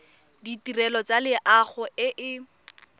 ditirelo tsa loago e e